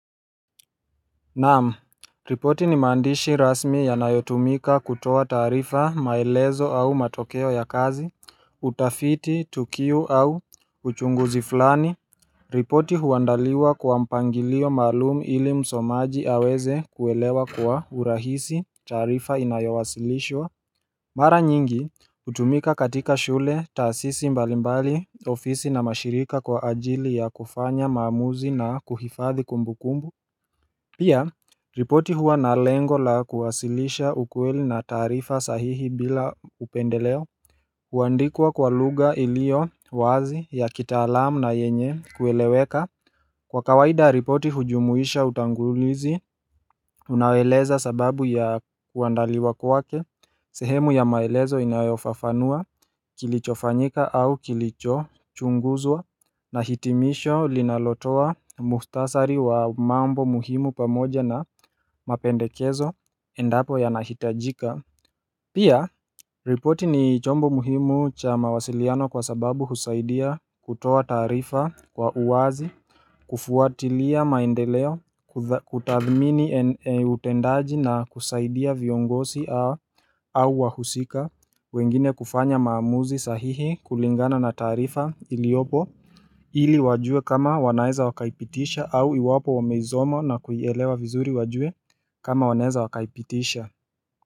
Naam, ripoti ni mandishi rasmi yanayotumika kutoa taarifa maelezo au matokeo ya kazi, utafiti, tukiu au uchunguzi fulani. Ripoti huandaliwa kwa mpangilio malumu ili msomaji aweze kuelewa kwa urahisi taarifa inayowasilishwa. Mara nyingi, utumika katika shule tasisi mbalimbali ofisi na mashirika kwa ajili ya kufanya maamuzi na kuhifadhi kumbukumbu. Pia, ripoti huwa na lengo la kuwasilisha ukweli na tarifa sahihi bila upendeleo huandikuwa kwa lugha ilio wazi ya kitaalamu na yenye kueleweka Kwa kawaida ripoti hujumuisha utangulizi, unaoeleza sababu ya kuandaliwa kwake sehemu ya maelezo inayofafanua kilichofanyika au kilicho chunguzwa Nahitimisho linalotoa muhtasari wa mambo muhimu pamoja na mapendekezo endapo yana hitajika Pia, ripoti ni chombo muhimu cha mawasiliano kwa sababu husaidia kutoa taarifa kwa uwazi kufuatilia maendeleo, kutathmini utendaji na kusaidia viongosi au wahusika wengine kufanya maamuzi sahihi kulingana na taarifa iliopo ili wajue kama wanaeza wakaipitisha au iwapo wameizoma na kuielewa vizuri wajue kama wanaeza wakaipitisha.